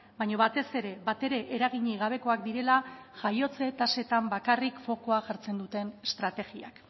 baina batez ere batere eraginik gabekoak direla jaiotze tasetan bakarrik fokua jartzen duten estrategiak